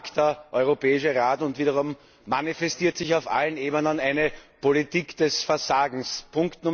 Wieder einmal tagt der Europäische Rat, und wiederum manifestiert sich auf allen Ebenen eine Politik des Versagens.